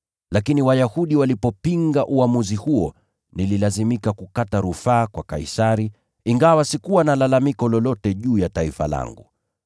Lakini Wayahudi walipopinga uamuzi huo, nililazimika kukata rufaa kwa Kaisari, ingawa sikuwa na lalamiko lolote juu ya taifa langu.